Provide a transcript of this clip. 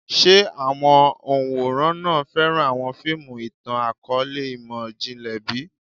Ṣe awọn òǹwòran náà fẹran awọn fiimu itan-akọọlẹ imọ-jinlẹ bi?